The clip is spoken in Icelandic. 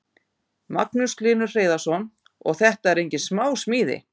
Magnús Hlynur Hreiðarsson: Og þetta eru engin smá smíði?